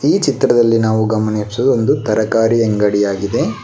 ಈ ಚಿತ್ರದಲ್ಲಿ ನಾವು ಗಮನಿಸುವುದು ಒಂದು ತರಕಾರಿ ಅಂಗಡಿಯಾಗಿದೆ.